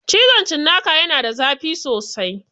Cizon cinnaka ya na da zafi sosai